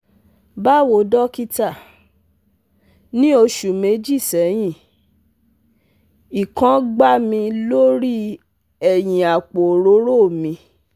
Bawo dokita, ni osu meji sehin, ikan gba mi lori eyin apo orooro mi